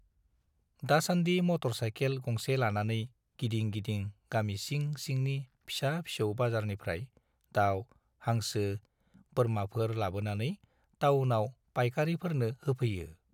दासान्दि motorcycle गंसे लानानै गिदिं गिदिं गामि सिं सिंनि फिसा फिसौ बाजारनिफ्राय दाउ, हांसो, बोरमाफोर लाबोनानै टाउनाव पाइकारीफोरनो होफैयो।